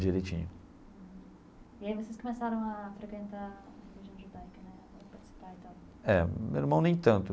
Direitinho. E aí vocês começaram a frequentar a religião judaica né? É, meu irmão nem tanto.